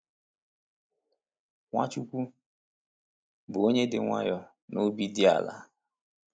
Nwachukwu bụ “onye dị nwayọọ na obi dị ala.”